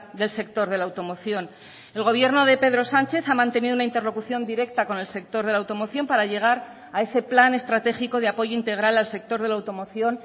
del sector de la automoción el gobierno de pedro sánchez ha mantenido una interlocución directa con el sector de la automoción para llegar a ese plan estratégico de apoyo integral al sector de la automoción